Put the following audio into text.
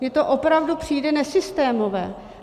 Mně to opravdu přijde nesystémové.